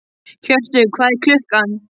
Hjörtur, hvað er klukkan?